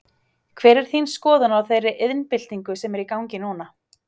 Hver er þín skoðun á þeirri iðnbyltingu sem er í gangi núna?